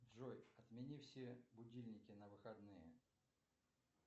джой отмени все будильники на выходные